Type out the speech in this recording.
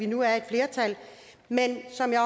nu er et flertal men som jeg